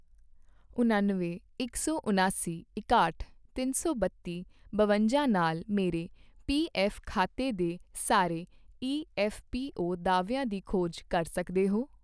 ਉਣੱਨਵੇਂ, ਇਕ ਸੌ ਉਣਾਸੀ, ਇਕਾਹਠ, ਤਿੰਨ ਸੌ ਬੱਤੀ, ਬਵੰਜਾ ਨਾਲ ਮੇਰੇ ਪੀਐੱਫ਼ ਖਾਤੇ ਦੇ ਸਾਰੇ ਈਐੱਫ਼ਪੀਓ ਦਾਅਵਿਆਂ ਦੀ ਖੋਜ ਕਰ ਸਕਦੇ ਹੋ?